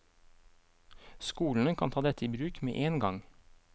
Skolene kan ta dette i bruk med én gang.